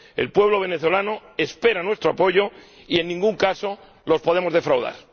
El pueblo venezolano espera nuestro apoyo y en ningún caso le podemos defraudar.